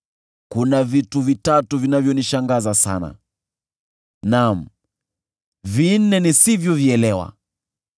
“Kuna vitu vitatu vinavyonishangaza sana, naam, vinne nisivyovielewa: